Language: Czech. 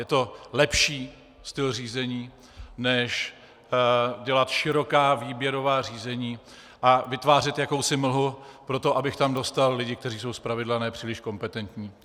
Je to lepší styl řízení než dělat široká výběrová řízení a vytvářet jakousi mlhu proto, abych tam dostal lidi, kteří jsou z pravidla nepříliš kompetentní.